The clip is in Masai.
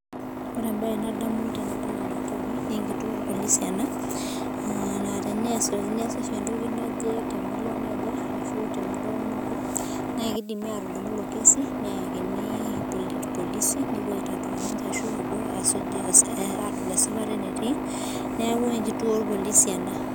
Ore embae nadamu tenadol ena mbae naa enkituo irpolisi ena naa teeniasa oshi entoki temurua naje naa kidimi atudumu elo kesipa neyakini irpolisi nepuo aitatua ninche ashu epuo adol esipata enetii neeku enkituo orpololi ena